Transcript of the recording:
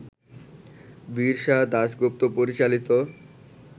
বীরসা দাশগুপ্ত পরিচালিত